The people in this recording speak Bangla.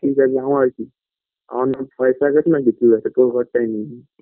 কি জানি আমার আর কি আমার নামে পয়সাআছে না কিছু আছে তোর ঘরটাই নিয়ে নেব